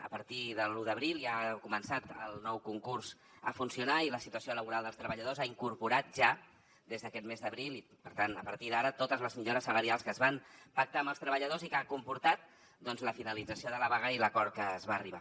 a partir de l’un d’abril ja ha començat el nou concurs a funcionar i la situació laboral dels treballadors ha incorporat ja des d’aquest mes d’abril i per tant a partir d’ara totes les millores salarials que es van pactar amb els treballadors i que han comportat doncs la finalització de la vaga i l’acord a què es va arribar